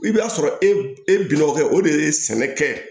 I bɛ t'a sɔrɔ e bi bɛn dɔ kɛ o de ye sɛnɛkɛ ye